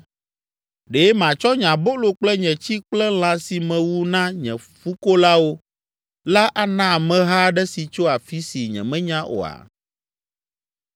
Ɖe matsɔ nye abolo kple nye tsi kple lã si mewu na nye fukolawo la ana ameha aɖe si tso afi si nyemenya oa?”